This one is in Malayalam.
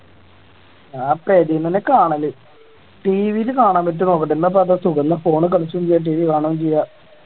ഞാൻ പെരെന്നന്നെ കാണല് TV ല് കാണാൻ പറ്റുവോ നോക്കട്ടെ എന്നാ ഇപ്പൊ അതാ സുഖം എന്നാ phone ൽ കളിക്കുകേം ചെയ്യാം TV കാണുകേം ചെയ്യാം